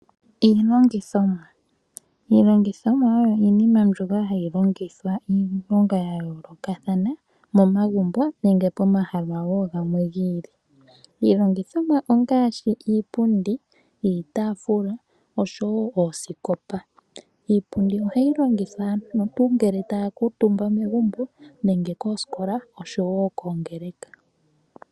Iilongithomwa oyo iinima mbyoka hayi longithwa iilonga ya yoolokathana momagumbo nenge pomahala wo gamwe gi ili. Iilongithomwa ongaashi iipundi, iitaafula oshowo oosikopa. Iipundi ohayi longithwa ngele aantu taa kuutumba megumbo nenge koosikola oshowo koongeleka.